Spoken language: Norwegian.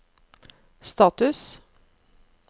status